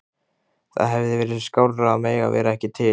Það hefði verið skárra að mega vera ekki til.